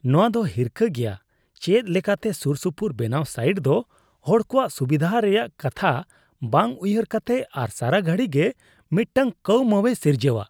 ᱱᱚᱶᱟ ᱫᱚ ᱦᱤᱨᱠᱟᱹ ᱜᱮᱭᱟ ᱪᱮᱫ ᱞᱮᱠᱟᱛᱮ ᱥᱩᱨᱥᱩᱯᱩᱨ ᱵᱮᱱᱟᱣ ᱥᱟᱭᱤᱴ ᱫᱚ ᱦᱚᱲ ᱠᱚᱣᱟᱜ ᱥᱩᱵᱤᱫᱷᱟ ᱨᱮᱭᱟᱜ ᱠᱟᱛᱷᱟ ᱵᱟᱝ ᱩᱭᱦᱟᱹᱨ ᱠᱟᱛᱮ ᱟᱨ ᱥᱟᱨᱟᱜᱷᱟᱹᱲᱤ ᱜᱮ ᱢᱤᱫᱴᱟᱝ ᱠᱟᱹᱣᱢᱟᱹᱣᱮ ᱥᱤᱨᱡᱟᱹᱣᱟ ᱾